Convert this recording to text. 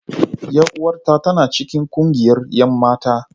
Yar uwata tana cikin kungiyar 'yan mata.